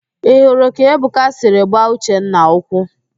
Ị hụrụ ka Ebuka siri gbaa Uchenna ụkwụ?